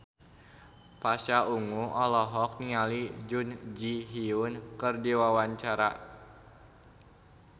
Pasha Ungu olohok ningali Jun Ji Hyun keur diwawancara